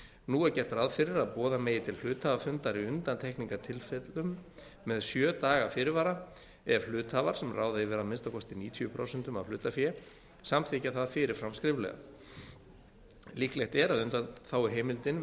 nú er gert ráð fyrir að boða megi til hluthafafundar í undantekningartilfellum með sjö daga fyrir vara ef hluthafar sem ráða yfir að minnsta kosti níutíu prósent af hlutafé samþykkja það fyrirfram skriflega líklegt er að undanþáguheimildin